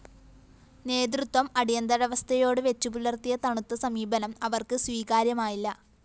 നേതൃത്വം അടിയന്തരവസ്ഥയോട് വെച്ചുപുലര്‍ത്തിയ തണുത്ത സമീപനം അവര്‍ക്ക് സ്വീകാര്യമായില്ല